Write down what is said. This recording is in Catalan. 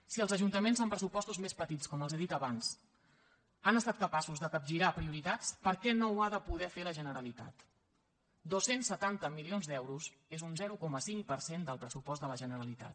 si els ajuntaments amb pressupostos més petits com els he dit abans han estat capaços de capgirar prioritats per què no ho ha de poder fer la generalitat dos cents setanta milions d’euros és un zero coma cinc per cent del pressupost de la generalitat